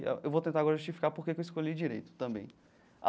Eu vou tentar agora justificar porque que eu escolhi Direito também.